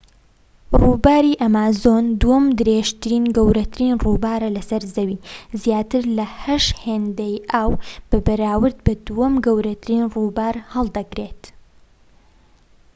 ڕووباری ئەمازۆن دووەم درێژترین و گەورەترین ڕووبارە لە سەر زەوی زیاتر لە 8 هێندەی ئاو بەراورد بە دووەم گەورەترین ڕووبار هەڵدەگرێت